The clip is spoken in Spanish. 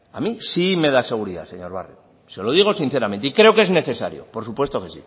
a mí sí me da seguridad señor barrio se lo digo sinceramente y creo que es necesario por supuesto que sí